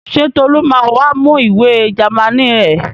Ṣé Tolú ma wá mú ìwé Jámánì ẹ̀?